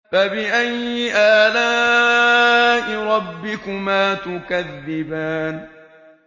فَبِأَيِّ آلَاءِ رَبِّكُمَا تُكَذِّبَانِ